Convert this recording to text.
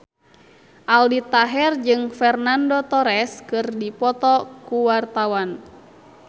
Aldi Taher jeung Fernando Torres keur dipoto ku wartawan